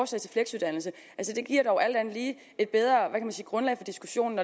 til fleksuddannelse det giver dog alt andet lige et bedre hvad kan man sige grundlag for diskussionen